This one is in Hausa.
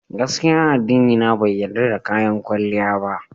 Gaskiya addinina bai yarda da kayan kwalliya ba.